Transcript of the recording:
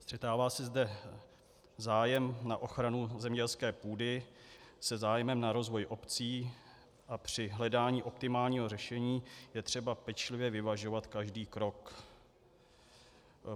Střetává se zde zájem na ochranu zemědělské půdy se zájmem na rozvoji obcí a při hledání optimálního řešení je třeba pečlivě vyvažovat každý krok.